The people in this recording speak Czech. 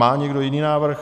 Má někdo jiný návrh?